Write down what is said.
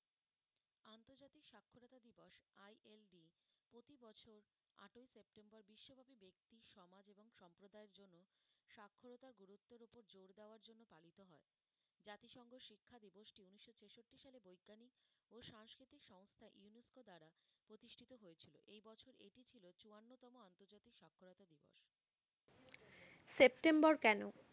September কেনো?